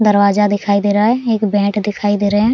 दरवाजा दिखाई दे रहा है एक बैट दिखाई दे रहें हैं।